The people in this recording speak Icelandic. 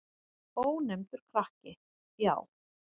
Ónefndur krakki: Já.